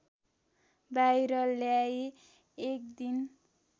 बाहिर ल्याई एकदिन